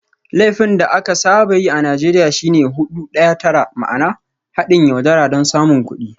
Laifin da aka saba yi a Najeriya shi ne "Hudu Daya Tara" ma'ana "Haɗin yaudara don samun kuɗi.